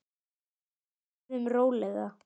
Borðum rólega.